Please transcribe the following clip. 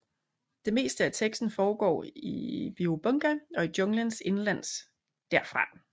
Det meste af teksten foregår i Birubunga og i junglen indenlands derfra